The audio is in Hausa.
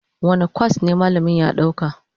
Wane kwas ne malamin ya ɗauka?